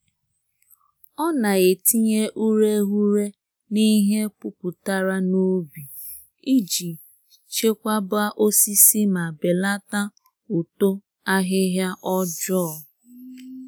Ọ na-etinye ureghure n'ihe puputara n'ubi, iji chekwaba osisi ma belata uto ahịhịa ọjọọ.